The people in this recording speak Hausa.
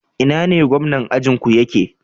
Ina ne gomnan ajinku yake?